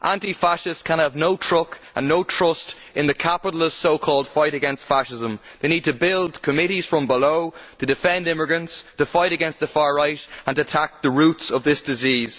Anti fascists can have no truck with and no trust in the capitalist so called fight against fascism. They need to build committees from below to defend immigrants, to fight against the far right and attack the roots of this disease.